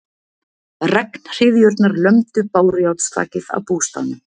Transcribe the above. Regnhryðjurnar lömdu bárujárnsþakið á bústaðnum.